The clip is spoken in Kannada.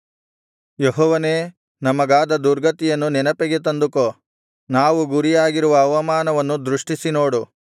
ಯೆಹೋವನೇ ನಮಗಾದ ದುರ್ಗತಿಯನ್ನು ನೆನಪಿಗೆ ತಂದುಕೋ ನಾವು ಗುರಿಯಾಗಿರುವ ಅವಮಾನವನ್ನು ದೃಷ್ಟಿಸಿ ನೋಡು